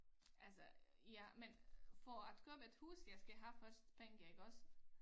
Altså ja men for at købe et hus jeg skal have først penge iggås